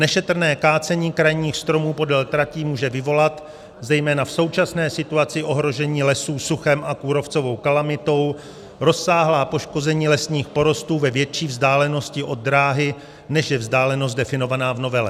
Nešetrné kácení krajních stromů podél tratí může vyvolat zejména v současné situaci ohrožení lesů suchem a kůrovcovou kalamitou rozsáhlá poškození lesních porostů ve větší vzdálenosti od dráhy, než je vzdálenost definovaná v novele.